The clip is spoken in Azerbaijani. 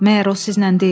Məgər o sizlə deyil?